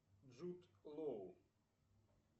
джуд лоу